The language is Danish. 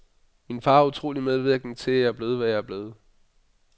Min far er utroligt medvirkende til, at jeg er blevet, hvad jeg er blevet.